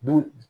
Bu